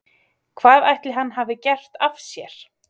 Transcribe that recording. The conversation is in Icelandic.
Hvað ætli hann hafi gert af sér?